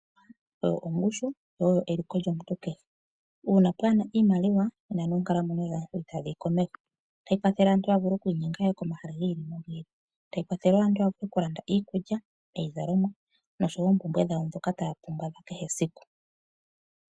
Ongushu oyo eliko lyomuntu kehe. Uuna kapuna iimaliwa, nena noonkalamwenyo dhaantu ihadhi yi komeho. Ohayi kwathele omuntu a vule okwiinyenga aye komahala giili nogi ili. Ohayi kwathele aantu ya vule okulanda iikulya, iizalomwa, noshowo oompumbwe dhawo dhoka taa pumbwa dha kehe esiku.